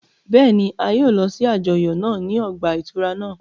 Bẹ́ẹ̀ni, a yóò lọ si àjọyọ naa ni ọgba-ìturá naa